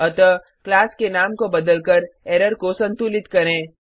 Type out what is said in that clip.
अतः क्लास के नाम को बदलकर एरर को संतुलित करें